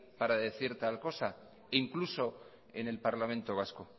para decir tal cosa e incluso en el parlamento vasco